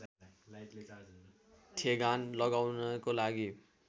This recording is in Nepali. ठेगान लगाउनको लागि